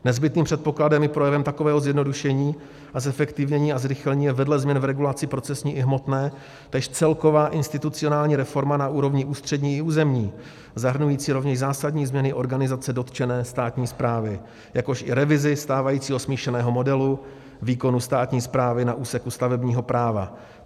Nezbytným předpokladem i projevem takového zjednodušení a zefektivnění a zrychlení je vedle změn v regulaci procesní i hmotné též celková institucionální reforma na úrovni ústřední i územní, zahrnující rovněž zásadní změny organizace dotčené státní správy, jakož i revizi stávajícího smíšeného modelu výkonu státní správy na úseku stavebního práva.